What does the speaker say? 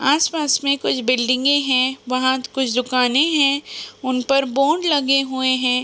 आस पास में कुछ बिल्डिंगे हैं। वहाँ कुछ दुकाने है। उन पर बोर्ड लगे हुए है।